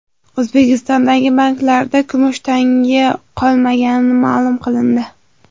O‘zbekistondagi banklarda kumush tanga qolmagani ma’lum qilindi.